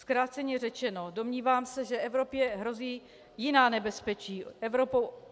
Zkráceně řečeno, domnívám se, že Evropě hrozí jiná nebezpečí.